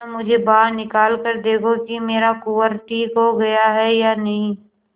जरा मुझे बाहर निकाल कर देखो कि मेरा कुंवर ठीक हो गया है या नहीं